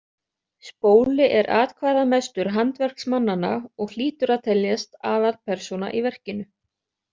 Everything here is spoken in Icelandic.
Spóli er atkvæðamestur handverksmannanna og hlýtur að teljast aðalpersóna í verkinu.